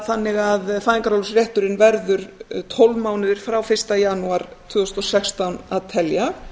þannig að fæðingarorlofsrétturinn verður tólf mánuðir frá fyrsta janúar tvö þúsund og sextán að telja